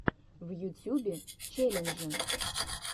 в ютюбе челленджи